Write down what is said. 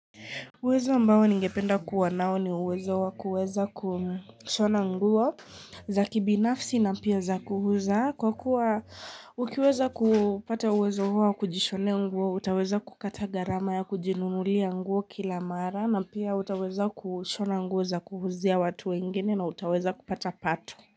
Uwezo ambao ningependa kuwa nao ni uwezo wa kuweza kushona nguo za kibinafsi na pia za kuuza kwa kuwa ukiweza kupata uwezo huo wakujishone nguo utaweza kukata gharama ya kujinunulia nguo kila mara na pia utaweza kushona nguo za kuuzia watu wengine na utaweza kupata pato.